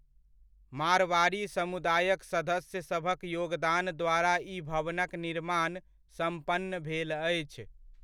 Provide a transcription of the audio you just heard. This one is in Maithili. मारवाड़ी समुदायक सदस्यसभक योगदानद्वारा ई भवनक निर्माण सम्पन्न भेल अछि।